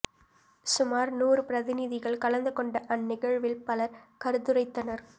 சுமார் நூறு பிரதிநிதிகள் கலந்து கொண்ட அந்நிகழ்வில் பலர் கருதுரைத்தனர்